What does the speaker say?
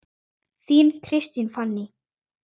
Þín, Kristín Fanný.